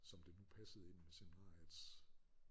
Som det nu passede ind med seminariets